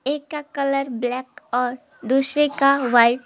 एक का colour black और दूसरे का व्हाइट --